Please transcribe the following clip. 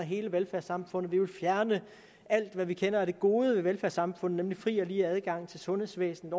hele velfærdssamfundet vil fjerne alt hvad vi kender af det gode ved velfærdssamfundet nemlig fri og lige adgang til sundhedsvæsenet